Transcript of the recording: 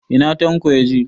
Ina Tanko yaje?